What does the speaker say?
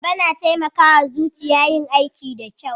Ayaba na taimaka wa zuciya yin aiki da kyau